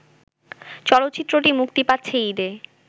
চলচ্চিত্রটি মুক্তি পাচ্ছে ঈদে